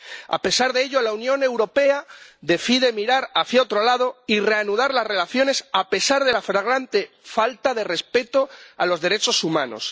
A pesar de ello, la Unión Europea decide mirar hacia otro lado y reanudar las relaciones, a pesar de la flagrante falta de respeto de los derechos humanos.